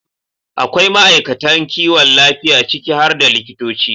akwai ma'aikatan kiwon lafiya, ciki har da likitoci,